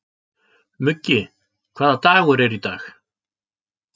Muggi, hvaða dagur er í dag?